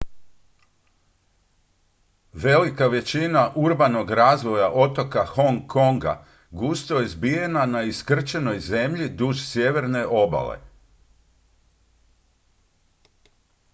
velika većina urbanog razvoja otoka hong konga gusto je zbijena na iskrčenoj zemlji duž sjeverne obale